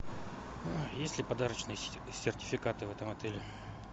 есть ли подарочные сертификаты в этом отеле